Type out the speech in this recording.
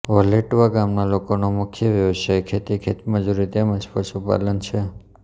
વલેટવા ગામના લોકોનો મુખ્ય વ્યવસાય ખેતી ખેતમજૂરી તેમ જ પશુપાલન છે